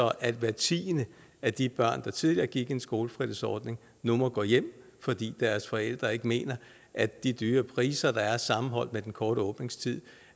at hver tiende af de børn der tidligere gik i en skolefritidsordning nu må gå hjem fordi deres forældre ikke mener at de dyre priser der er sammenholdt med den kortere åbningstid